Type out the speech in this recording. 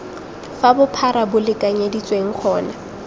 fa bophara bo lekanyeditsweng gona